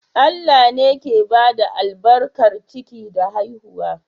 Allah ne ke bada albarkar ciki da haihuwa.